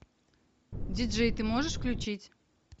диджей ты можешь включить